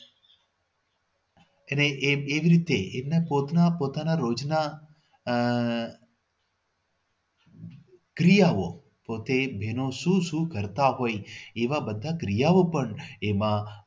એને એને એવી રીતે એને પોતાના પોતાના રોજના આહ ક્રિયાઓ પોતે બહેનો શું શું કરતા હોય છે એવા બધા ક્રિયાઓ પણ એમાં